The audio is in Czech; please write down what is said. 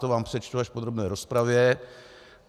To vám přečtu až v podrobné rozpravě.